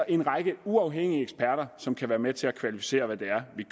en række uafhængige eksperter som kan være med til at kvalificere hvad det er vi